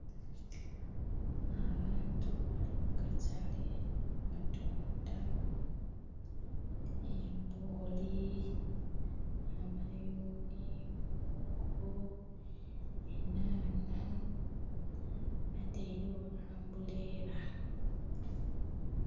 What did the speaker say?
Abantu bali mu katale batunda embooli, amayuni, mwogo, enhanha. Batailewo ambuleela.